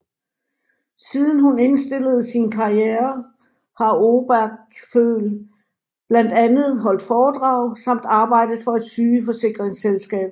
Siden hun indstillede sin karriere har Obergföll blandt andet holdt foredrag samt arbejdet for et sygeforsikringsselskab